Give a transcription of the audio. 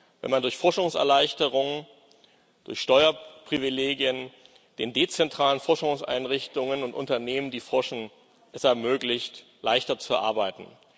wenn man durch Forschungserleichterung, durch Steuerprivilegien den dezentralen Forschungseinrichtungen und Unternehmen, die forschen, es ermöglicht, leichter zu arbeiten.